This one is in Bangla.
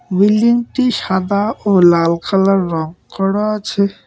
বিল্ডিংটি সাদা ও লাল কালার রঙ করা আছে।